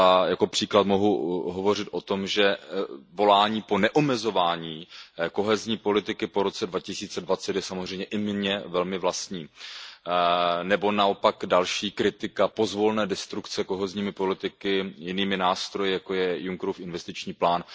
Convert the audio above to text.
Jako příklad mohu hovořit o tom, že volání po neomezování kohezní politiky po roce 2020 je samozřejmě i mně velmi vlastní, nebo naopak další kritika pozvolné destrukce kohezní politiky jinými nástroji, jako je Junckerův investiční plán.